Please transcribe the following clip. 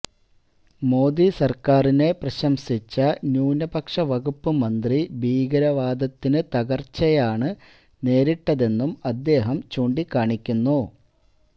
മോദി സർക്കാരിനെ പ്രശംസിച്ച ന്യൂനപക്ഷ വകുപ്പ് മന്ത്രി ഭീകരവാദത്തിന് തകർച്ചയാണ് തകർച്ചയാണ് നേരിട്ടതെന്നും അദ്ദേഹം ചൂണ്ടിക്കാണിക്കുന്നു